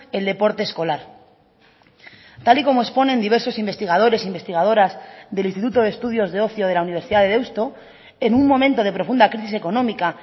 el deporte escolar tal y como exponen diversos investigadores investigadoras del instituto de estudios de ocio de la universidad de deusto en un momento de profunda crisis económica